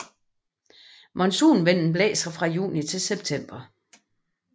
Monsunvinden blæser fra juni til september